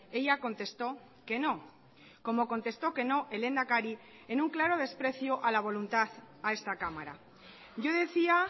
ella contestó que no como contestó que no el lehendakari en un claro desprecio a la voluntad a esta cámara yo decía